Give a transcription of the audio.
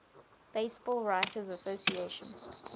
baseball writers association